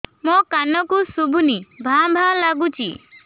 ମୋ କାନକୁ ଶୁଭୁନି ଭା ଭା ଲାଗୁଚି